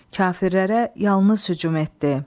Kafirlərə yalnız hücum etdi.